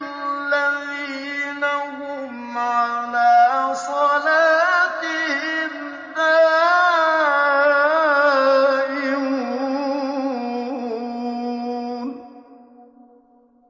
الَّذِينَ هُمْ عَلَىٰ صَلَاتِهِمْ دَائِمُونَ